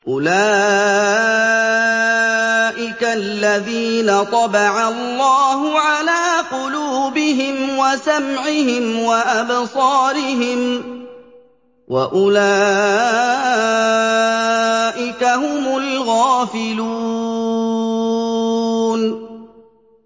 أُولَٰئِكَ الَّذِينَ طَبَعَ اللَّهُ عَلَىٰ قُلُوبِهِمْ وَسَمْعِهِمْ وَأَبْصَارِهِمْ ۖ وَأُولَٰئِكَ هُمُ الْغَافِلُونَ